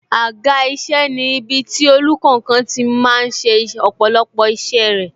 Àga isẹ ni ibiti olùkankan tí máa ń ṣe ọ̀pọ̀lọpọ̀ isẹ rẹ